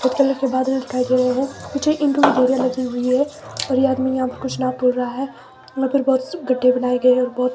के बादल दिखाई दे रहे है लगी हुई है और ये आदमी यहां पर कुछ नाप तोल रहा है मगर बहुत गड्ढे बनाए गए हैं बहोत--